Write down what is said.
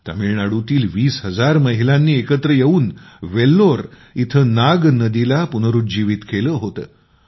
तामिळनाडूतील २० हजार महिलांनी एकत्र येऊन वेल्लोर इथं नाग नदीला पुनरूज्जीवित केलं होतं